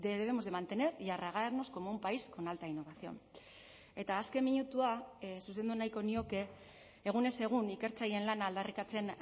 debemos de mantener y arrogarnos como un país con alta innovación eta azken minutua zuzendu nahiko nioke egunez egun ikertzaileen lana aldarrikatzen